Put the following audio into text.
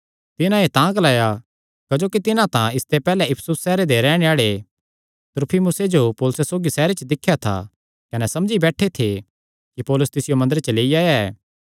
तिन्हां एह़ तां ग्लाया क्जोकि तिन्हां तां इसते पैहल्लैं इफिसुस सैहरे दे रैहणे आल़े त्रुफिमुसे जो पौलुसे सौगी सैहरे च दिख्या था कने समझी बैठे थे कि पौलुस तिसियो मंदरे च लेई आया ऐ